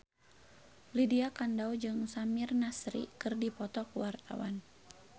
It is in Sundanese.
Lydia Kandou jeung Samir Nasri keur dipoto ku wartawan